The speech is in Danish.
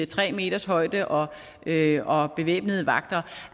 tre meters højde og og bevæbnede vagter